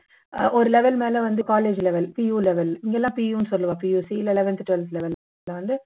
ஒரு level மேல வந்து college level PU level இதெல்லாம் PU னு சொல்லுவோம் PUC இல்ல eleventh twelfth level